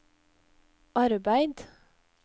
arbeid